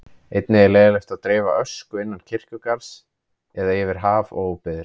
Einnig er leyfilegt að dreifa ösku innan kirkjugarðs eða yfir haf og óbyggðir.